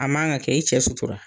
A man kan ka kɛ, i cɛ sutura